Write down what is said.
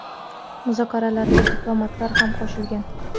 Muzokaralarga diplomatlar ham qo‘shilgan.